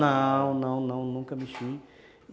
Não, não, não, nunca mexi.